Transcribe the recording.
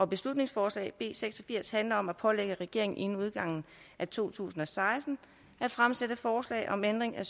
beslutningsforslag b seks og firs handler om at pålægge regeringen inden udgangen af to tusind og seksten at fremsætte forslag om ændring af